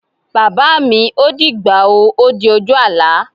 Bàbá mi, ó dìgbà o. Ó di ojú àlá.